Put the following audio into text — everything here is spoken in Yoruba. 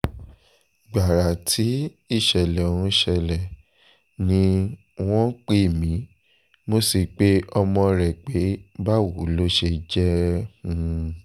gbàrà tí ìṣẹ̀lẹ̀ ọ̀hún ṣẹlẹ̀ ni um wọ́n pè mí mo sì pe ọmọ rẹ̀ pé báwo ló ṣe jẹ́ um